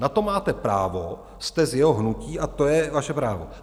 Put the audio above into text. Na to máte právo, jste z jeho hnutí, a to je vaše právo.